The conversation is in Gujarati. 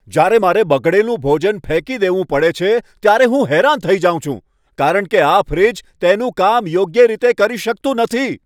જ્યારે મારે બગડેલું ભોજન ફેંકી દેવું પડે છે ત્યારે હું હેરાન થઈ જાઉં છું કારણ કે આ ફ્રિજ તેનું કામ યોગ્ય રીતે કરી શકતું નથી!